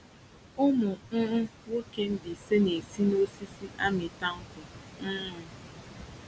Ụmụ um nwoke Mbaise na-esi n'osisi amita nkwụ. um